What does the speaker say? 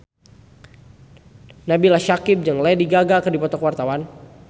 Nabila Syakieb jeung Lady Gaga keur dipoto ku wartawan